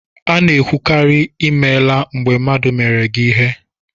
A na-ekwukarị ""I meela" mgbe mmadụ meere gị ihe